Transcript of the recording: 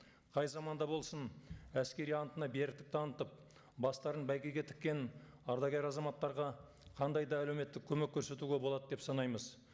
қай заманда болсын әскери антына беріктік танытып бастарын бәйгеге тіккен ардагер азаматтарға қандай да әлеуметтік көмек көрсетуге болады деп санаймыз